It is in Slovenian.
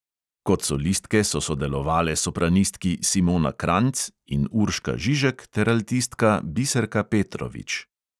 Kot solistke so sodelovale sopranistki simona kranjc in urška žižek ter altistka biserka petrovič.